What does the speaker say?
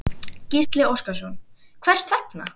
Gísli Óskarsson: Hvers vegna?